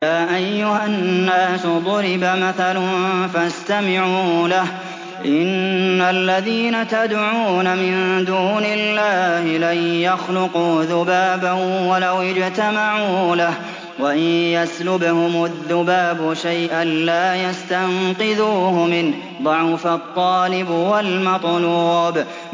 يَا أَيُّهَا النَّاسُ ضُرِبَ مَثَلٌ فَاسْتَمِعُوا لَهُ ۚ إِنَّ الَّذِينَ تَدْعُونَ مِن دُونِ اللَّهِ لَن يَخْلُقُوا ذُبَابًا وَلَوِ اجْتَمَعُوا لَهُ ۖ وَإِن يَسْلُبْهُمُ الذُّبَابُ شَيْئًا لَّا يَسْتَنقِذُوهُ مِنْهُ ۚ ضَعُفَ الطَّالِبُ وَالْمَطْلُوبُ